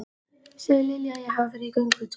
Segðu Lilju að ég hafi farið í göngutúr.